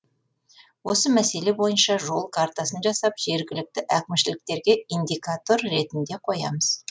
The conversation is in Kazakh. осы мәселе бойынша жол картасын жасап жергілікті әкімшіліктерге индикатор ретінде қоямыз